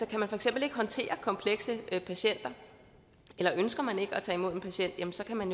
kan man for eksempel ikke håndtere komplekse patienter eller ønsker man ikke at tage imod en patient jamen så kan man